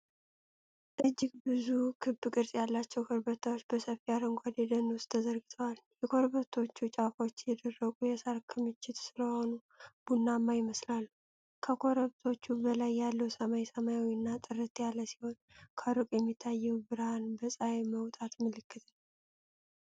እጅግ ብዙ ክብ ቅርጽ ያላቸው ኮረብታዎች በሰፊ አረንጓዴ ደን ውስጥ ተዘርግተዋል። የኮረብቶቹ ጫፎች የደረቁ የሳር ክምችት ስለሆኑ ቡናማ ይመስላሉ። ከኮረብቶቹ በላይ ያለው ሰማይ ሰማያዊና ጥርት ያለ ሲሆን፣ ከሩቅ የሚታየው ብርሃን የፀሐይ መውጣት ምልክት ነው።